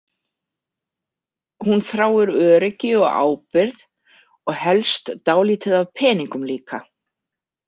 Hún þráir öryggi og ábyrgð, og helst dálítið af peningum líka.